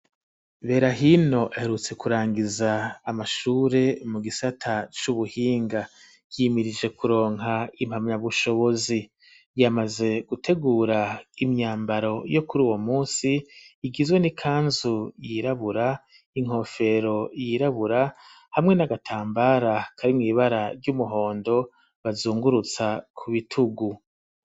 Berahino aherutse ku rangiza amashure mu gisata c'ubuhinga yimirije kuronka impamya bushobozi yamaze gutegura imyambaro yo kuri uwo musi igizwe n'ikanzu yirabura inkofero yirabura hamwe n'agatambara kari mw'ibara ry'umuhondo bazungurutsa ku bitugu.